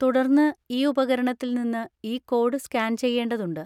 തുടർന്ന് ഈ ഉപകരണത്തിൽ നിന്ന് ഈ കോഡ് സ്കാൻ ചെയ്യേണ്ടതുണ്ട്.